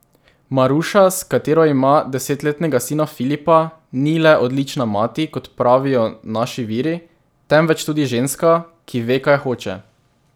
Maruša, s katero ima desetletnega sina Filipa, ni le odlična mati, kot pravijo naši viri, temveč tudi ženska, ki ve, kaj hoče.